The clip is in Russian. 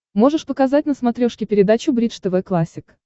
можешь показать на смотрешке передачу бридж тв классик